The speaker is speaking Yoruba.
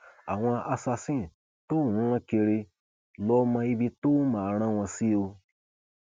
àwọn assasin tóò ń rán kiri lọọ mọ ibi tóo máa rán wọn sí ọ